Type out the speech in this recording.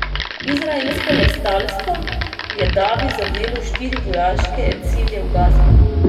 Izraelsko letalstvo je davi zadelo štiri vojaške cilje v Gazi.